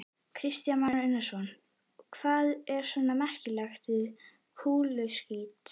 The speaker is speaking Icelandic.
Kristján Már Unnarsson: Hvað er svona merkilegt við kúluskít?